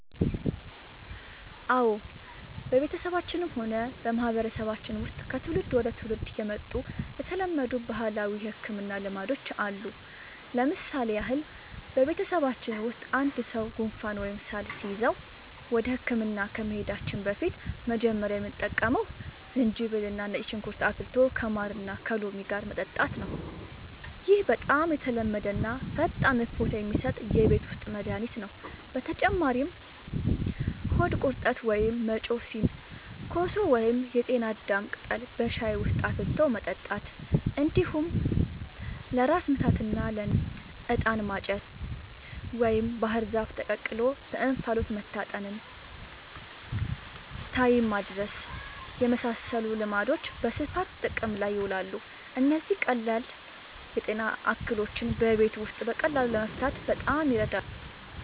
አዎ፣ በቤተሰባችንም ሆነ በማህበረሰባችን ውስጥ ከትውልድ ወደ ትውልድ የመጡ የተለመዱ ባህላዊ የሕክምና ልማዶች አሉ። ለምሳሌ ያህል፣ በቤተሰባችን ውስጥ አንድ ሰው ጉንፋን ወይም ሳል ሲይዘው ወደ ሕክምና ከመሄዳችን በፊት መጀመሪያ የምንጠቀመው ዝንጅብልና ነጭ ሽንኩርት አፍልቶ ከማርና ከሎሚ ጋር መጠጣት ነው። ይህ በጣም የተለመደና ፈጣን እፎይታ የሚሰጥ የቤት ውስጥ መድኃኒት ነው። በተጨማሪም ሆድ ቁርጠት ወይም መጮህ ሲኖር ኮሶ ወይም የጤና አዳም ቅጠል በሻይ ውስጥ አፍልቶ መጠጣት፣ እንዲሁም ለራስ ምታትና ለንፍጥ «ዕጣን ማጨስ» ወይም ባህር ዛፍ ተቀቅሎ በእንፋሎት መታጠንን (ታይም ማድረስ) የመሳሰሉ ልማዶች በስፋት ጥቅም ላይ ይውላሉ። እነዚህ ቀላል የጤና እክሎችን በቤት ውስጥ በቀላሉ ለመፍታት በጣም ይረዳሉ።